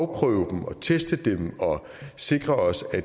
afprøve dem og teste dem og sikre os at